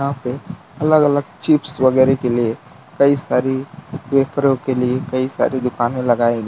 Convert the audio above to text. यहां पे अलग अलग चिप्स वगैरा के लिए कई सारी वेफरों के लिए कई सारी दुकाने लगाई गई --